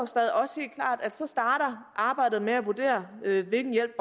og at så starter arbejdet med at vurdere hvilken hjælp